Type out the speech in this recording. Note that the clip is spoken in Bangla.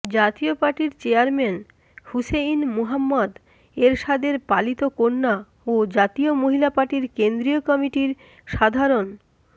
জাতীয় পার্টির চেয়ারম্যান হুসেইন মুহাম্মদ এরশাদের পালিত কন্যা ও জাতীয় মহিলা পার্টির কেন্দ্রীয় কমিটির সাধারণ